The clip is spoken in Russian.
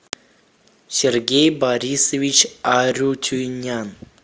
сергей борисович арутюнян